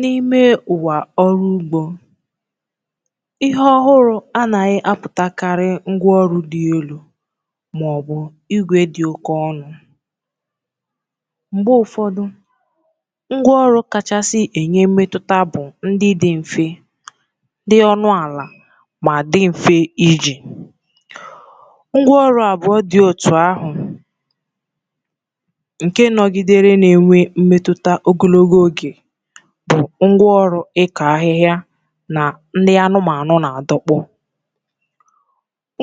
N’ime ụwa ọrụ ugbo, ihe ọhụrụ na-apụtakarị ngwa ọrụ dị elu maọbụ igwe dị oke ọnụ. Ma mgbe ụfọdụ, ngwa ọrụ kacha enye mmetụta bụ ndị dị mfe, dị ọnụ ala, ma dị mfe iji. Mmetụta ogologo oge bụ ngwa ọrụ ịkọ ahịhịa, ndị anụmanụ, na adọkpụ.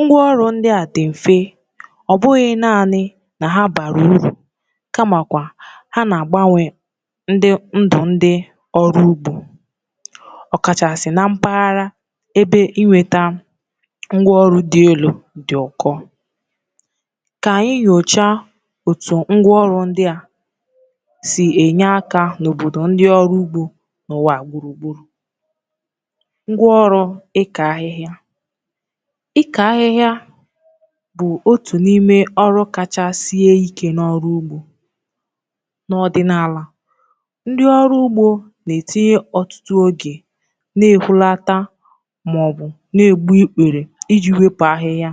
Ngwa ọrụ ndị a dị mfe, ọ bụghị naanị na ha bara uru, kamakwa ha na-agbanwe ndụ ndị ọrụ ugbo, ọkachasị na mpaghara ebe inweta ngwa ọrụ dị elu dị oke ọnụ. Ka anyị nyochaa otu ngwa ọrụ ndị a si enye aka n’obodo ndị ọrụ ugbo n’ụwa gburugburu. Ngwa Ọrụ Ịka Ahịhịa: Uru Na Mmetụta Ya Ịka ahịhịa bụ otu n’ime ọrụ kachasị ike n’ọrụ ugbo. N’ọdịnala, ndị ọrụ ugbo na-etinye ọtụtụ oge na-ehulata maọbụ na-egbu ikpere iji wepụ ahịhịa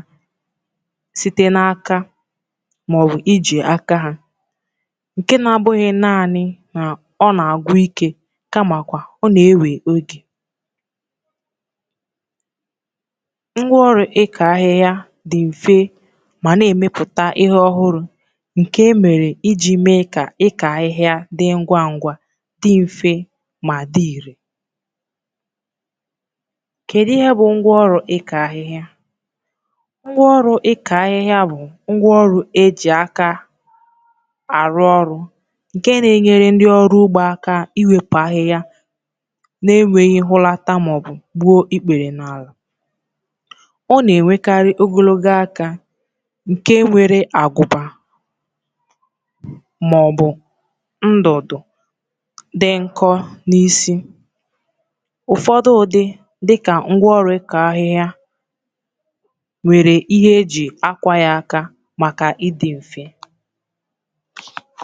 site n’aka. Nke a abụghị naanị na ọ na-agwụ ike, kamakwa ọ na-ewe oge. Ngwa ọrụ ịka ahịhịa dị mfe, ma na-emepụta ihe ọhụrụ nke emere iji mee ka ịka ahịhịa dị ngwa ngwa, dị mfe, ma dị irè. Kedu Ihe Ngwa Ọrụ Ịka Ahịhịa Bụ? Ngwa ọrụ ịka ahịhịa bụ ngwa ọrụ eji aka, nke na-enyere ndị ọrụ ugbo aka iwepụ ahịhịa na-enweghị ehulata maọbụ gbuo ikpere. Ọ na-arụ ọrụ n’alụ na ala. Ọ na-enwekarị ogologo aka nke enyere mmadụ aka iru ala na-enweghị ime ka ahụ daa. Isi ya nwere agụba maọbụ ndọdụ dị nkọ, nke na-ebu ahịhịa ngwa ngwa. Ụfọdụ n’ime ha dị ka ngwa orị kọ ahịhịa, nwekwara ihe eji akwado ya n’aka maka ịdị mfe a. Mmetụta Ya Na Ndụ Ndị Ọrụ Ugbo Ngwa ọrụ dị mfe dị ka nke a: Na-ebelata ike mmadụ ji arụ ọrụ ugbo. Na-eme ka oge ọrụ dị mkpụmkpụ. Na-enyere ndị okenye, ụmụ nwanyị, na ndị na-adịghị ike ka ha rụọ ọrụ ugbo n’enweghị ihe isi ike. Na-eme ka arụmọrụ bawanye, ọbụna n’enweghị igwe maọbụ teknụzụ dị elu. Mmechi: Ọ bụ eziokwu na igwe na ngwa ọrụ dị elu na-arụ ọrụ nke ọma, ma ngwa ọrụ dị mfe, dị ọnụ ala, dịka ngwa ịka ahịhịa, na-enwekarị mmetụta dị ukwuu n’ime obodo ndị ọrụ ugbo, ọkachasị ebe ego na inweta teknụzụ dị elu ka bụ nsogbu. Ha bụ ihe atụ doro anya na obere ihe nwere ike ime nnukwu mgbanwe.